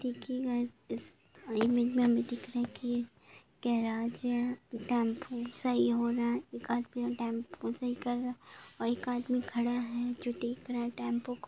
देखिये गाइस इस इमेज में हमे दिखाई दे रहा है की ये गेराज है टेम्पो सही हो रहा है एक आदमी टेम्पू सही कर रहा है और एक आदमी खड़ा हैजो देख रहा है टेम्पू को।